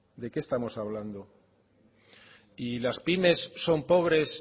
de qué estamos hablando y las pymes son pobres